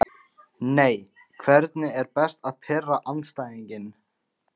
nei Hvernig er best að pirra andstæðinginn?